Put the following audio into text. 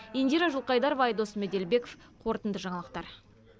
индира жылқайдарова айдос меделбеков қорытынды жаңалықтар